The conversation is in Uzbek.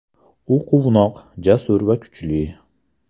U quvnoq, jasur va kuchli.